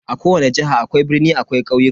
A kowani jiha akwai birni akwai ƙauyuka.